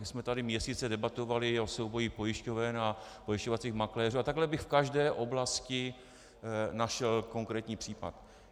My jsme tady měsíce debatovali o souboji pojišťoven a pojišťovacích makléřů a takhle bych v každé oblasti našel konkrétní případ.